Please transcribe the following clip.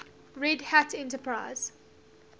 red hat enterprise